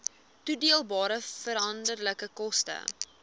toedeelbare veranderlike koste